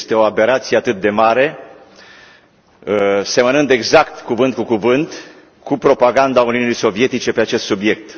Este o aberație atât de mare, semănând exact, cuvânt cu cuvânt, cu propaganda Uniunii Sovietice pe acest subiect.